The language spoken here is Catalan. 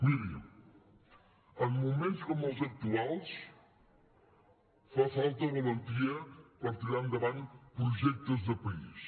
miri en moments com els actuals fa falta valentia per tirar endavant projectes de país